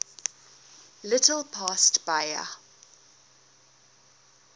little past bahia